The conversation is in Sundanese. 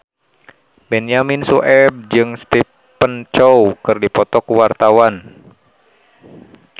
Benyamin Sueb jeung Stephen Chow keur dipoto ku wartawan